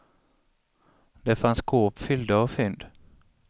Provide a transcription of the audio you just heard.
Det fanns skåp fyllda av fynd.